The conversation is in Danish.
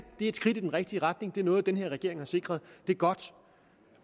er et skridt i den rigtige retning det er noget den her regering har sikret det er godt